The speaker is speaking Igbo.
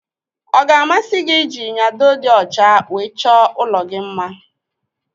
Ọ ga-amasị gị ịji nyado dị ọcha wee chọọ ụlọ gị mma?